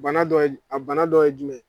Bana dɔ ye a bana dɔ ye jumɛn?